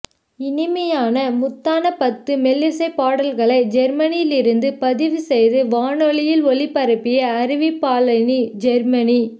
இனிமையான முத்தான பத்து மெல்லிசை பாடல்களை ஜெர்மனியில் இருந்து ப்திவு செய்து வானொலியில் ஒலிபரப்பிய அறிவிப்பாளினி ஜெர்மனி